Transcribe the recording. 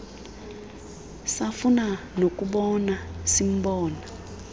safuna nokumbona simbona